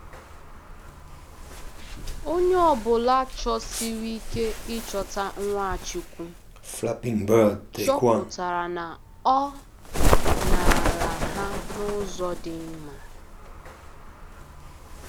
Onye ọ bụla chọsiri ike ịchọta Nwachukwu chọpụtara na ọ “nara ha n’ụzọ dị mma.”